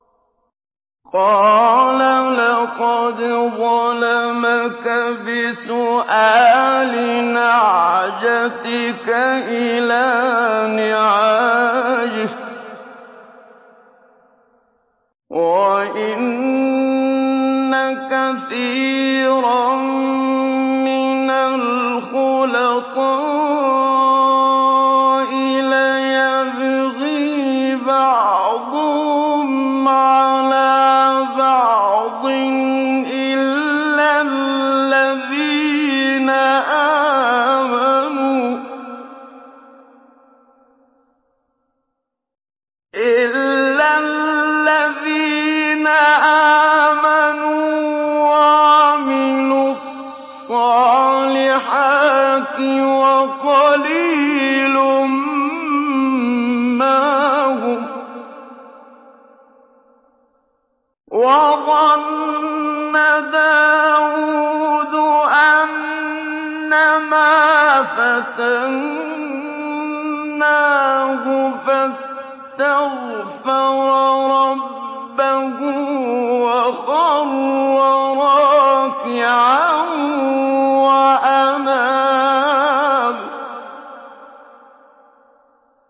قَالَ لَقَدْ ظَلَمَكَ بِسُؤَالِ نَعْجَتِكَ إِلَىٰ نِعَاجِهِ ۖ وَإِنَّ كَثِيرًا مِّنَ الْخُلَطَاءِ لَيَبْغِي بَعْضُهُمْ عَلَىٰ بَعْضٍ إِلَّا الَّذِينَ آمَنُوا وَعَمِلُوا الصَّالِحَاتِ وَقَلِيلٌ مَّا هُمْ ۗ وَظَنَّ دَاوُودُ أَنَّمَا فَتَنَّاهُ فَاسْتَغْفَرَ رَبَّهُ وَخَرَّ رَاكِعًا وَأَنَابَ ۩